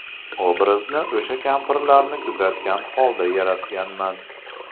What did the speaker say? Obrazni o‘sha kampirlarni kuzatgan holda yaratganman.